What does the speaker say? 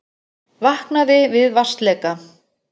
Vaknaði við vatnsleka